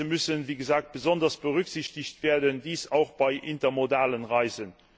Diese müssen wie gesagt besonders berücksichtigt werden, dies auch bei intermodalen Reisen.